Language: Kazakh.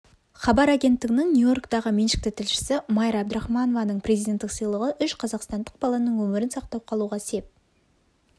хабар агенттігінің нью-йорктағы меншікті тілшісі майра абдрахманованың президенттік сыйлығы үш қазақстандық баланың өмірін сақтап қалуға сеп